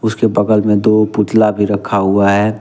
उसके बगल में दो पुतला भी रखा हुआ है।